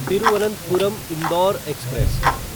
Thiruvananthapuram Indore express